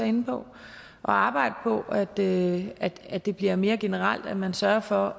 inde på at arbejde på at det at det bliver mere generelt at man sørger for